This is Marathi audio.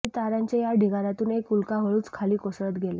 आणि ताऱ्यांच्या त्या ढिगार्यातून एक उल्का हळूच खाली कोसळत गेली